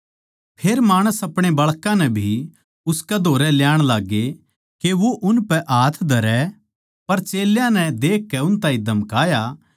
फेर माणस अपणे बाळकां नै भी उसकै धोरै ल्याण लाग्गे के वो उनपै हाथ धरै पर चेल्यां नै देख उन ताहीं धमकाया